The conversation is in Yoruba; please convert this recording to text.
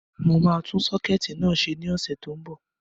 Mo máa tún sọ́kẹ̀tì náà ṣe ní ọ̀sẹ̀ tó n bọ̀